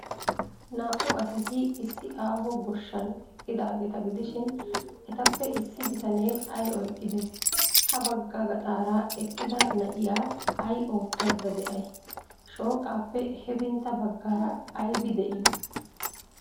Naa''u asati issi aaho goshshan eqqidaageeta gidishin, etappe issi bitanee ay oyqqidee? Habagga gaxaara eqqida na'iyaa ay oottaydda de'ay? Shooqaappe hefintta baggaara aybi de'ii?